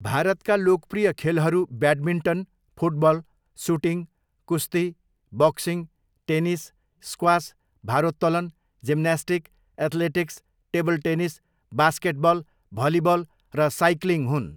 भारतका लोकप्रिय खेलहरू ब्याडमिन्टन, फुटबल, सुटिङ, कुस्ती, बक्सिङ, टेनिस, स्क्वास, भारोत्तोलन, gymnastic, athletics, table tennis, basketball, volleyball र साइकलिङ हुन्।